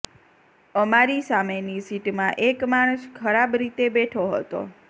અમારી સામેની સિટમાં એક માણસ ખરાબ રીતે બેઠો હતો